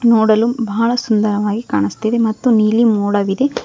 ನೋಡಲು ಬಹಳ ಸುಂದರವಾಗಿ ಕಾಣುಸ್ತಿದೆ ಮತ್ತು ನೀಲಿ ಮೋಡವಿದೆ.